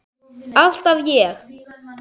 Alltaf ég.